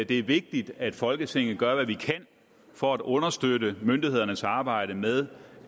det er vigtigt at folketinget gør hvad vi kan for at understøtte myndighedernes arbejde med